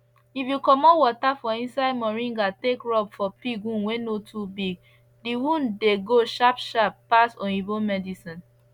if u commot water for inside moringa take rub for pig wound wey no to big d wound dey go sharp sharp pass oyibo medicine